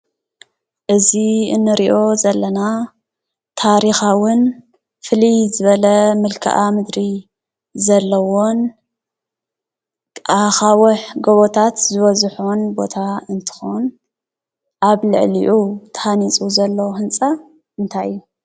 እዚ እኒርኣ ዘለና ታርካውን ፍለይ ዝበለ መልከኣ ምድርን ዘለዎን ኣኻውሕን ጎቦታት ዝበዝሑን ቦታ እነትከውን ኣብልዕሊኡ ታሃኒፁ ዘሎ ህንፃ እንታይ እዩ?